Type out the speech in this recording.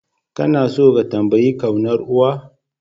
Kana tso ka tambayi kaunar uwa?